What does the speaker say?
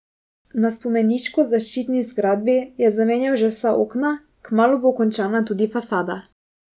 Na spomeniško zaščiteni zgradbi je zamenjal že vsa okna, kmalu bo končana tudi fasada.